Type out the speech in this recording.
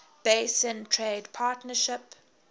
basin trade partnership